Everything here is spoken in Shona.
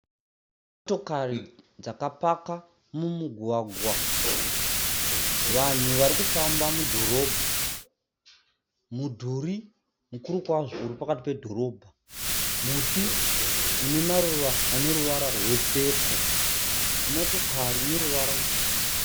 Motokari dzakapaka mumugwagwa, vanhu varikufamba mudhorobha, mudhuri mukuru kwazvo uri pakati pedhorobha, muti une maruva ane ruvara rwe pepo. motokari ine ruwara ruchena.